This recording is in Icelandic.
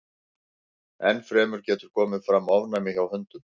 Enn fremur getur komið fram ofnæmi hjá hundum.